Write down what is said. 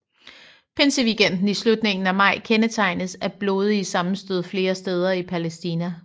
Pinseweekenden i slutningen af maj kendetegnedes af blodige sammenstød flere steder i Palæstina